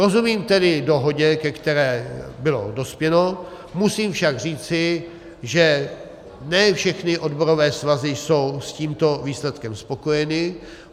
Rozumím tedy dohodě, ke které se dospělo, musím však říci, že ne všechny odborové svazy jsou s tímto výsledkem spokojeny.